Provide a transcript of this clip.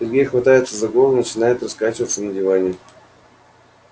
сергей хватается за голову и начинает раскачиваться на диване